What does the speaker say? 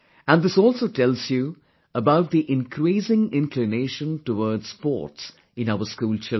And this also tells you about the increasing inclination towards sports in our school children